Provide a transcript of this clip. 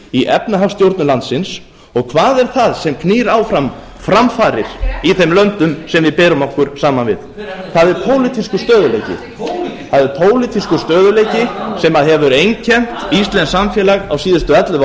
í efnahagsstjórn landsins og hvað er það sem knýr áfram framfarir í þeim löndum sem við berum okkur saman við það er pólitískur stöðugleiki það er pólitískur stöðugleiki sem hefur einkennt íslenskt samfélag á síðustu ellefu